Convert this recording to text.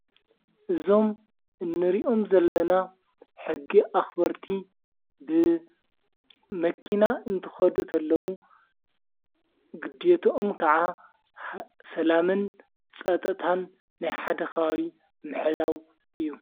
እዞም እንሪኦም ዘለና ሕጊ ኣኽበርቲ ብ መኪና እንትኸዱ እተለዉ ግዲትኦም ከዓ ሰላምን ጸጠታን ናይሓደከባቢ ምሕላው እዩ::